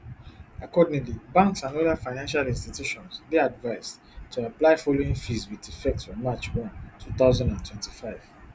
accordingly banks and oda financial institutions dey advised to apply di following fees wit effect from march one two thousand and twenty-five